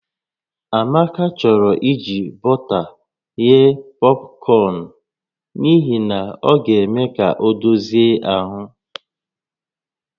Amaka chọrọ iji bọta ghee pọpkọn n'ihi na ọ ga-eme ka ọ dozie ahụ